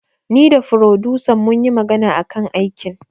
Ni da furodusan munyi magana akan aikin